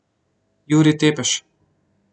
Jurij Tepeš.